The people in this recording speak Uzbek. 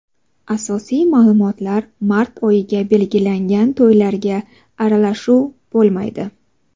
Asosiy ma’lumotlar Mart oyiga belgilangan to‘ylarga aralashuv bo‘lmaydi.